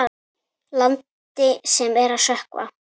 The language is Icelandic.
Landi sem er að sökkva.